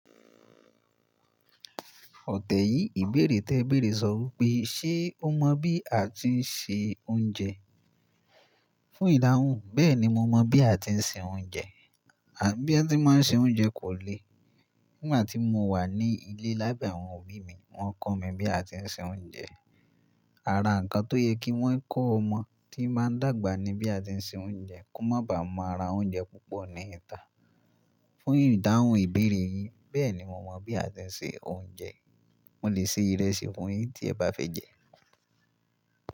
Ọ̀tẹ̀ yìí ìbéèrè tẹ béèrè sọ wí pé, ṣe o mọ bí a tí ń se oúnjẹ? Fún ìdahùn, bẹ́ẹ̀ni mo mọ bí a tí ń se oúnjẹ. À bí a tí máa ń se oúnjẹ kò le. Nígbà tí mo wà ní ilé lábẹ́ àwọn òbí mi, wọ́n kọ́ mi bí a tí ń se oúnjẹ. Ara ǹkan tó yẹ kí wọ́n kó ọmọ tí ń máa dàgbà ní bí a tí ń se oúnjẹ kó má ba ma ra oúnjẹ púpọ̀ ní ìta. Fún ìdahùn ìbéèrè yín, bẹ́ẹ̀ni mo mọ bí a tí ń se oúnjẹ. Mo lè se ìrẹsì fún yin tí ẹ bá fẹ́ jẹ ẹ́.